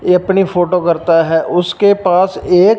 ये अपनी फोटो करता है उसके पास एक--